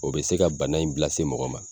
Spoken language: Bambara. O bɛ se ka bana in bila se mɔgɔ ma.